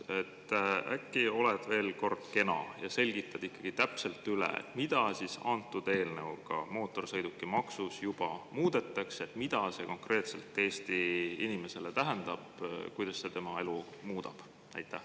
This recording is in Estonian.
Äkki oled veel kord kena ja selgitad ikkagi täpselt üle, mida antud eelnõuga mootorsõidukimaksus juba muudetakse, mida see konkreetselt Eesti inimesele tähendab, kuidas see tema elu muudab?